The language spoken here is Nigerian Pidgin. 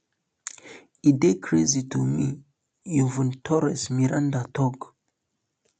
e dey crazy um to me ivonne torres miranda tok